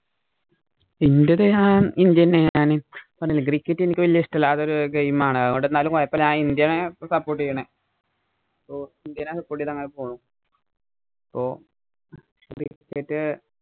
Indian ആണ്. cricket എനിക്ക് വല്യ ഇഷ്ടമല്ലാത്ത ഒരു game ആണ്. അതുകൊണ്ട് എന്നാലും കുഴപ്പമില്ല. ഞാന്‍ ഇന്ത്യേനെ support ചെയ്യുന്നേ. ഓ, ഇന്ത്യേനെ support ചെയ്തു അങ്ങനെ പോണു. അപ്പൊ cricket